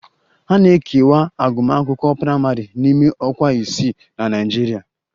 A na-ekewa agụmakwụkwọ praịmarị n'ime ọkwa isii na Naịjirịa